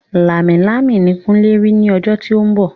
Lámilámi ni kunle rí ní ọjọ́ tí ó ń bọ̀